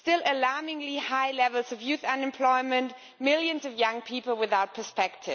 Alarmingly high levels of youth unemployment still, millions of young people without prospects.